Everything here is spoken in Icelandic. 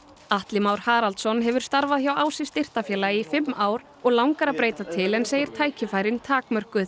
Atli Már Haraldsson hefur starfað hjá Ási styrktarfélagi í fimm ár og langar að breyta til en segir tækifærin takmörkuð